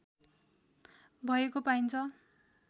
भएको पाइन्छ